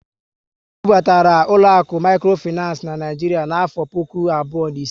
E bu batara ụlọaku mikrofinancé n'Naijiria n'afọ puku abụọ na ise